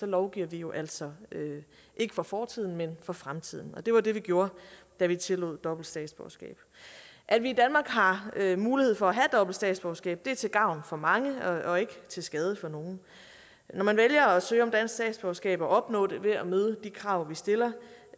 lovgiver vi jo altså ikke for fortiden men for fremtiden og det var det vi gjorde da vi tillod dobbelt statsborgerskab at vi i danmark har mulighed for at have dobbelt statsborgerskab er til gavn for mange og ikke til skade for nogen at man vælger at søge om dansk statsborgerskab og opnår det ved at møde de krav vi stiller